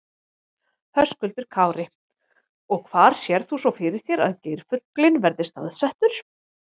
Höskuldur Kári: Og hvar sérð þú svo fyrir þér að geirfuglinn verði staðsettur?